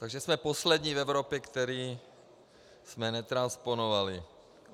Takže jsme poslední v Evropě, kteří jsme netransponovali.